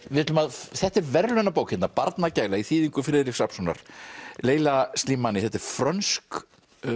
þetta er verðlaunabók hérna barnagæla í þýðingu Friðriks Rafnssonar leila Slimani þetta er frönsk